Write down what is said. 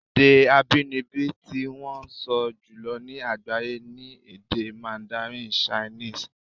Èdè abínibí tí wọ́n ń sọ jùlọ ní àgbáyé ni èdè mandarin chinese.